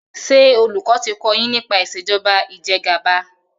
ṣe olùkó ti kò yín nípa Ìṣèjọba Ìjẹgàba.